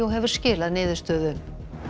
og hefur skilað niðurstöðu